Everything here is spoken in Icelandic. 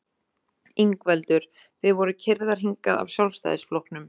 Ingveldur: Þið voruð keyrðar hingað af Sjálfstæðisflokknum?